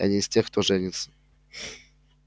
я не из тех кто женится